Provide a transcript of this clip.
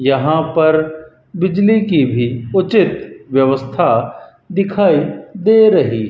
यहां पर बिजली की भी उचित व्यवस्था दिखाई दे रही --